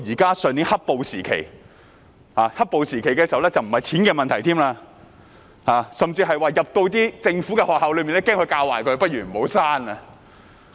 到上年"黑暴"時期，已不僅是錢的問題，甚至是恐防進入政府學校會被教壞，倒不如不要生小孩了。